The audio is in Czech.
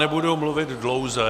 Nebudu mluvit dlouze.